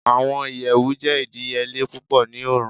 Awọn iyẹwu jẹ idiyele pupọ ni Oorun